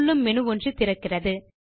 துள்ளும் menu ஒன்று திறக்கிறது